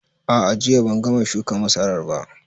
A'a, jiya ban gama shuka masarar ba